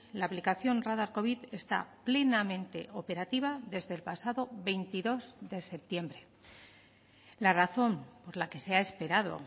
la aplicación radar covid está plenamente operativa desde el pasado veintidós de septiembre la razón por la que se ha esperado